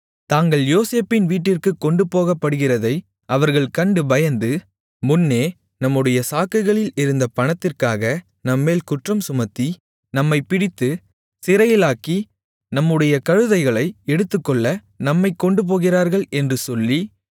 தாங்கள் யோசேப்பின் வீட்டிற்குக் கொண்டுபோகப்படுகிறதை அவர்கள் கண்டு பயந்து முன்னே நம்முடைய சாக்குகளில் இருந்த பணத்திற்காக நம்மேல் குற்றம் சுமத்தி நம்மைப் பிடித்துச் சிறைகளாக்கி நம்முடைய கழுதைகளை எடுத்துக்கொள்ள நம்மைக்கொண்டுபோகிறார்கள் என்று சொல்லி